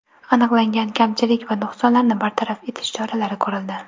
Aniqlangan kamchilik va nuqsonlarni bartaraf etish choralari ko‘rildi.